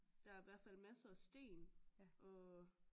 Der er i hvert fald masser sten og